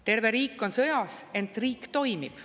Terve riik on sõjas, ent riik toimib.